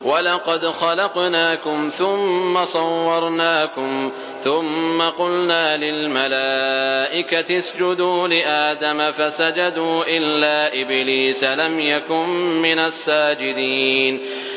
وَلَقَدْ خَلَقْنَاكُمْ ثُمَّ صَوَّرْنَاكُمْ ثُمَّ قُلْنَا لِلْمَلَائِكَةِ اسْجُدُوا لِآدَمَ فَسَجَدُوا إِلَّا إِبْلِيسَ لَمْ يَكُن مِّنَ السَّاجِدِينَ